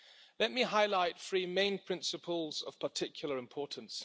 Let me highlight three main principles of particular importance.